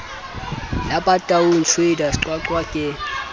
la bataung traders qwaqwa ke